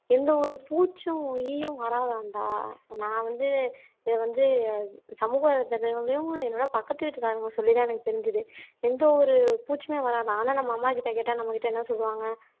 எந்த ஒரு பூச்சும் ஈயும் வராதாம்டா நான் வந்து இதை வந்து சமூக என்னோட பக்கத்து வீட்டுக்காரங்க சொல்லித்தான் எனக்கு தெரிஞ்சுது எந்த ஒரு பூச்சுமே வராதாம் ஆனா நம்ம அம்மா கிட்ட கேட்டா நம்ம கிட்ட என்ன சொல்லுவாங்க